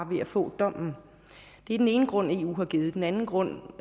ved at få dommen det er den ene grund eu har givet den anden grund